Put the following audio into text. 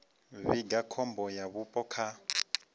vhiga khombo ya vhupo kha